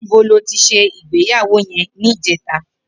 Nibó lò ti sé igbéyàwó yèn nijètá?